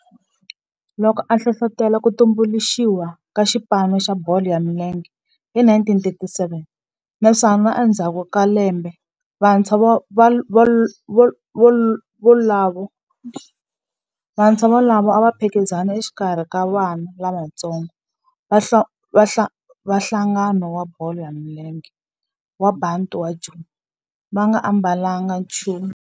Loko a hlohlotela ku tumbuluxiwa ka xipano xa bolo ya milenge hi 1937 naswona endzhaku ka lembe vantshwa volavo a va phikizana exikarhi ka vana lavatsongo va nhlangano wa bolo ya milenge wa Bantu wa Joni va nga ambalanga nchumu naswona va nga ambalanga nchumu xitirhisiwa xa xipano.